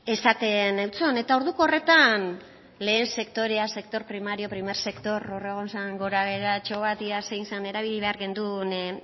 esaten eutson eta orduko horretan lehen sektorean sector primario primer sector hor egon zen gorabeheratxo bat ea zein erabili behar genuen